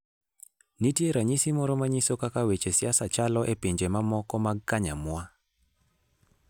Nitie ranyisi moro manyiso kaka weche siasa chalo e pinje mamoko magkanyamwa.